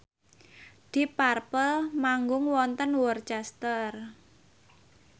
deep purple manggung wonten Worcester